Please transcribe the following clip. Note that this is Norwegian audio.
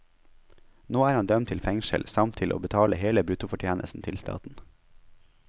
Nå er han dømt til fengsel, samt til å betale hele bruttofortjenesten til staten.